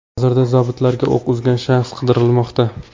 Hozirda zobitlarga o‘q uzgan shaxs qidirilmoqda.